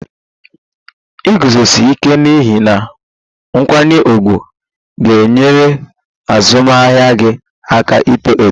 Iguzosi ike n'ihe na nkwanye ùgwù ga-enyere azụmahịa gị aka ito eto